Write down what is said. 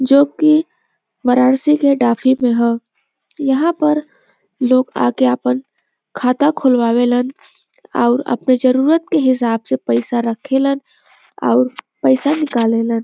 जोकि वाराणसी के डाफी में ह यहां पर लोग आके आपन खाता खोलवावे लन और आपन जरुरत के हिसाब से पैसा रखेलन और पैसा निकालेलन।